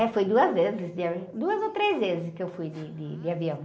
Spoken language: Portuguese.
É, foi duas vezes, duas ou três vezes que eu fui de, de avião.